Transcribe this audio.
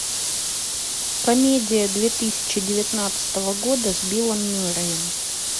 комедия две тысячи девятнадцатого года с биллом мюрреем